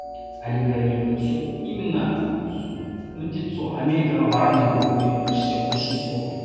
әлемге әйгілі бренд сол именно міндет сол америкаға барамын деп оқу деген бір іште құлшыныс болды